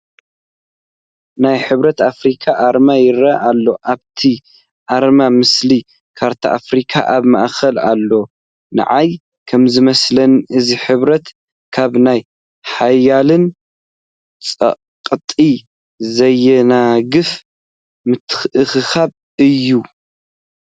ናይ ሕብረት ኣፍሪካ ኣርማ ይርአ ኣሎ፡፡ ኣብቲ ኣርማ ምስሊ ካርታ ኣፍሪካ ኣብ ማእኸል ኣሎ፡፡ ነዓይ ከምዝመስለኒ እዚ ሕብረት ካብ ናይ ሓያላን ፀቕጢ ዘየናግፍ ምትእኽኻብ እዩ፡፡